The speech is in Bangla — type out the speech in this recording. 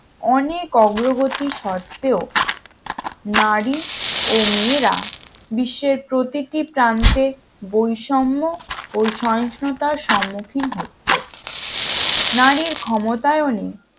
অনেক অগ্রগতি শর্তেও নারী ও মেয়েরা বিশ্বের প্রতিটি প্রান্তে বৈষম্য ও সহিষ্ণুতার সম্মুখীন হচ্ছে নারীর ক্ষমতায়ন এ